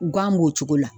Gan b'o cogo la